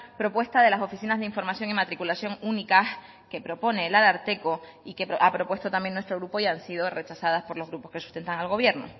propuesta de las oficinas de información y matriculación única que propone el ararteko y que ha propuesto también nuestro grupo y han sido rechazadas por los grupos que sustentan al gobierno